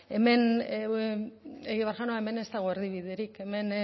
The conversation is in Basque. egibar jauna hemen ez dago erdibiderik hemen